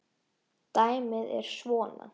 Dæmið er svona